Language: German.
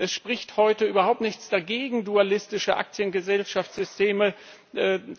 Es spricht heute überhaupt nichts dagegen, dualistische Aktiengesellschaftssysteme